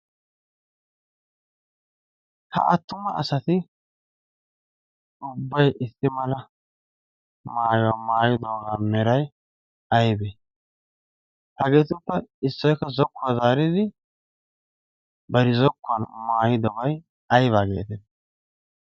ha attuma asati ubbay issi mala maawaa maayidoga meray aibee hageetuppa issoykka zokkuwaa zaaridi barizokkuwan maayidogay aybaageete